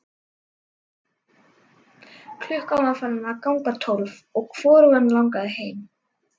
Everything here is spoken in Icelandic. Klukkan var farin að ganga tólf og hvorugan langaði heim.